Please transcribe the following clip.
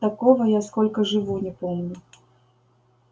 такого я сколько живу не помню